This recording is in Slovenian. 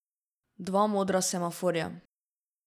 Dva modra semaforja.